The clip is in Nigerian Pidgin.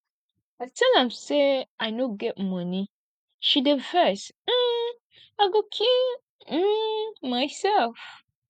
i tell am say i no get money she dey vex um i go kill um myself